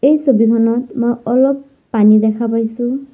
এই ছবিখনত মই অলপ পানী দেখা পাইছোঁ।